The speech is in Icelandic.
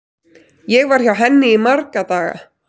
Ég var hjá henni í marga daga.